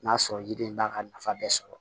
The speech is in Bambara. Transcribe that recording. N'a sɔrɔ yiriden b'a ka nafa bɛɛ sɔrɔ